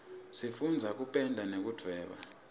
sifundza kupenda nekudvweba